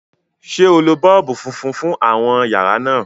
ṣe o ló boolubu fúnfún fún àwọn yàrá náa?